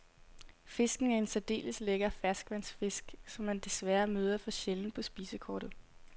Fisken er en særdeles lækker ferskvandsfisk, som man desværre møder for sjældent på spisekortet.